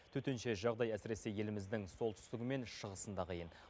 төтенше жағдай әсіресе еліміздің солтүстігі мен шығысында қиын